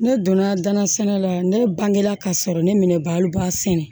Ne donna danna sɛnɛ la ne bangela ka sɔrɔ ne minɛ baloba sɛnɛ